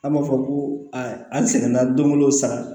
An b'a fɔ ko aa an sɛgɛnna dongolo sara